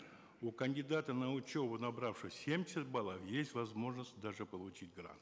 у кандидата на учебу набравшего семьдесят баллов есть возможность даже получить грант